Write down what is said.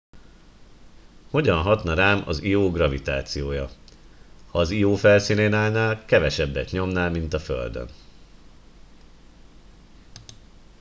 hogyan hatna rám az io gravitációja ha az io felszínén állnál kevesebbet nyomnál mint a földön